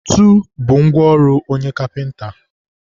ntu bụ ngwa ọrụ onye kapịnta.